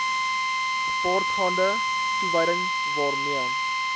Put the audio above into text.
gepaardgaande toewyding waarmee